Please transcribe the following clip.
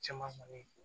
Caman kɔni ye